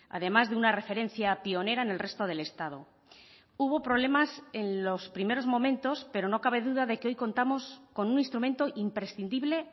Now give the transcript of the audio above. además de una referencia pionera en el resto del estado hubo problemas en los primeros momentos pero no cabe duda de que hoy contamos con un instrumento imprescindible